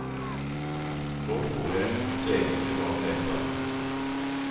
Nå tror jeg at det egentlig var noe helt annet.